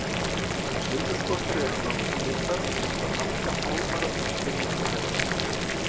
Silfurskottur eru nánast blindar og nota langa fálmara til að skynja umhverfi sitt.